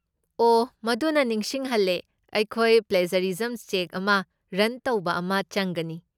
ꯑꯣꯍ! ꯃꯗꯨꯅ ꯅꯤꯡꯁꯤꯡꯍꯜꯂꯦ ꯑꯩꯈꯣꯏ ꯄ꯭ꯂꯦꯖꯔꯤꯖꯝ ꯆꯦꯛ ꯑꯃ ꯔꯟ ꯇꯧꯕ ꯑꯃ ꯆꯪꯒꯅꯤ꯫